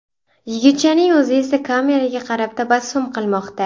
Yigitchaning o‘zi esa kameraga qarab tabassum qilmoqda.